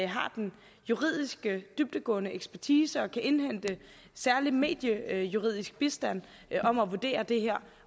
har den juridiske dybdegående ekspertise og kan indhente særlig mediejuridisk bistand om at vurdere det her